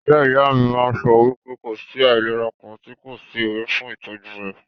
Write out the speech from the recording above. Ìyá ìyá mí máà ń sọ wípé kò sí àìlera kàn tí kò sí ewé fún ìtọ́jú rẹ̀.